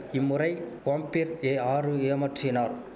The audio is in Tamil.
இம்முறை காம்பிர் ஏ ஆறு ஏமற்றினார்